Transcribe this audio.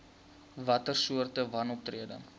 watter soorte wanoptrede